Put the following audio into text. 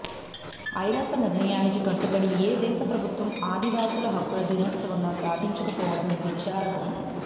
ఐరాస నిర్ణయానికి కట్టుబడి ఏ దేశ ప్రభుత్వం ఆదివాసుల హక్కుల దినోత్సవంగా పాటించకపోవడం విచారకరం